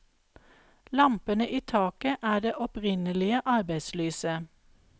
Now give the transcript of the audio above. Lampene i taket er det opprinnelige arbeidslyset.